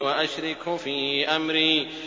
وَأَشْرِكْهُ فِي أَمْرِي